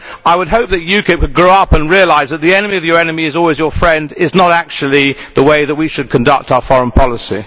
I hope that UKIP would grow up and realise that ʽthe enemy of your enemy is always your friendʼ is not actually the way we should conduct our foreign policy.